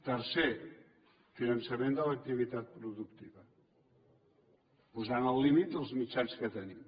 tercer finançament de l’activitat productiva posant al límit els mitjans que tenim